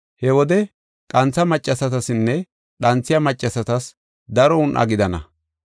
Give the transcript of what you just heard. He wode qantha maccasatasinne dhanthiya maccasatas daro un7a gidana.